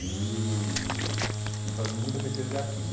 E... E e fazendo muita pesquisa de arquivo.